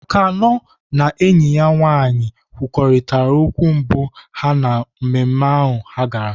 Akannœ na enyi ya nwaanyị kwurịtara okwu mbụ ha na mmemme ha gara.